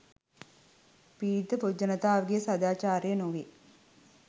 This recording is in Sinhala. පීඩිත පොදු ජනතාවගේ සාදාචාරය නොවේ